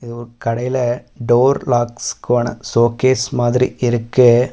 ஒரு கடைல டோர் லாக்ஸ்க்கான ஷோகேஸ் மாதிரி இருக்கு.